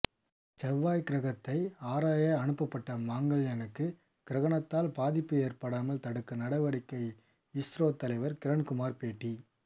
செவ்வாய் கிரகத்தை ஆராய அனுப்பப்பட்ட மங்கள்யானுக்கு கிரகணத்தால் பாதிப்பு ஏற்படாமல் தடுக்க நடவடிக்கை இஸ்ரோ தலைவர் கிரண்குமார் பேட்டி